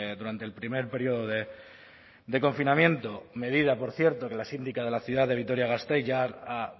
durante el primer periodo de confinamiento medida por cierto que la síndica de la ciudad de vitoria gasteiz ya ha